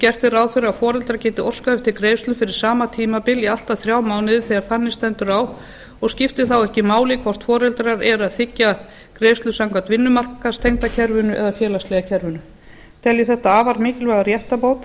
gert er ráð fyrir að foreldrar geti óskað eftir greiðslu fyrir sama tímabil í allt að þrjá mánuði þegar þannig stendur á og skiptir þá ekki máli hvort foreldrar eru að þiggja greiðslur samkvæmt vinnumarkaðstengda kerfinu eða félagslega kerfinu tel ég þetta afar mikilvæga réttarbót